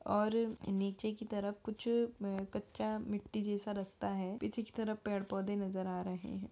और नीचे की तरफ कुछ मम कच्चा मिट्टी जैसा रस्ता है पीछे की तरफ पेड़ पौधे नजर आ रहे हैं।